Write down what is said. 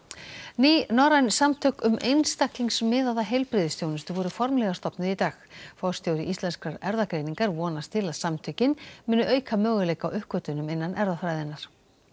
ný norræn samtök um einstaklingsmiðaða heilbrigðisþjónustu voru formlega stofnuð í dag forstjóri Íslenskrar erfðagreiningar vonast til að samtökin muni auka möguleika á uppgötvunum innan erfðafræðinnar